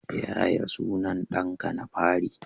Yaya sunan danka na fari?